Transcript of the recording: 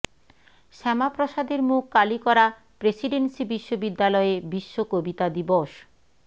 শ্যামাপ্রসাদের মুখ কালি করা প্রেসিডেন্সি বিশ্ববিদ্যালয়ে বিশ্ব কবিতা দিবস